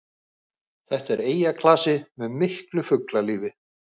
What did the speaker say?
Þetta er eyjaklasi með miklu fuglalífi